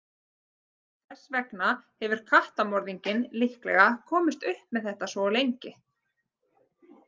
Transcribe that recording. Þess vegna hefur kattamorðinginn líklega komist upp með þetta svo lengi.